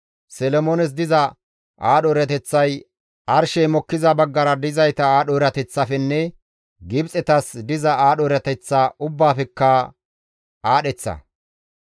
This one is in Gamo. Solomoones diza aadho erateththay arshey mokkiza baggara dizayta aadho erateththafenne Gibxetas diza aadho erateththa ubbaafekka aadheththa.